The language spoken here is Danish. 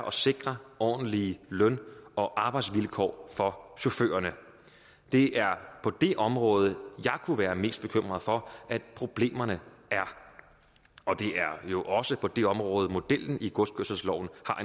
at sikre ordentlige løn og arbejdsvilkår for chaufførerne det er på det område jeg kunne være mest bekymret for at problemerne er og det er jo også på det område at modellen i godskørselsloven